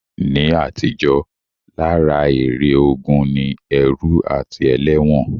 Ní àtijó, lára èrè ogun ni ẹrú àti ẹlẹ́wọ̀n